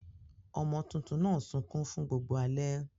Ọmọ tuntun náà sunkún fún gbogbo alẹ́.